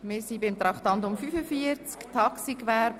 Wir setzen Debatte zu Traktandum 45 fort, Taxigewerbe: